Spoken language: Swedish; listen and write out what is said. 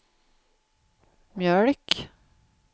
mjölk